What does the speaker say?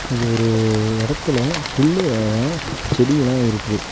இது ஒரு உ எடத்துல புல்லுகல்லா செடியெலா இருக்குது.